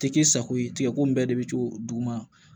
Tɛ k'i sago ye tigɛko in bɛɛ de bɛ to duguma